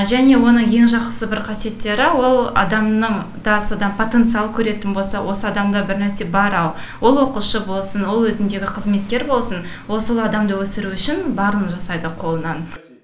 және оның ең жақсы қасиеттері ол адамның да содан потенциал көретін болса осы адамда бірнәрсе бар ау ол оқушы болсын ол өзіндегі қызметкер болсын ол сол адамды өсіру үшін барын жасайды қолынан